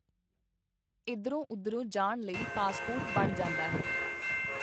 ਇਧਰੋਂ ਉਧਰੋਂ ਜਾਣ ਲਈ ਪਾਸਪੋਰਟ ਬਣ ਜਾਂਦਾ ਹੈ.